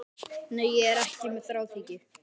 Nei, ég er ekki með þráhyggju.